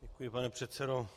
Děkuji, pane předsedo.